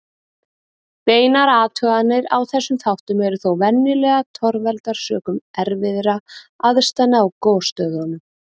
Beinar athuganir á þessum þáttum eru þó venjulega torveldar sökum erfiðra aðstæðna á gosstöðvum.